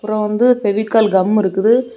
அப்புறம் வந்து ஃபெவிகால் கம் இருக்குது.